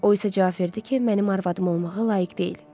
O isə cavab verdi ki, mənim arvadım olmağa layiq deyil.